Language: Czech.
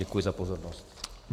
Děkuji za pozornost.